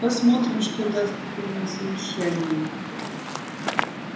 посмотрим что даст утреннее совещание